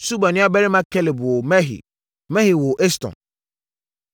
Suba nuabarima Kelub woo Mehir. Mehir woo Eston.